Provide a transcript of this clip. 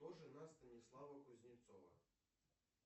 кто жена станислава кузнецова